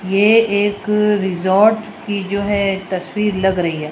ये एक रिज़ॉर्ट की जो है तस्वीर लग रही है।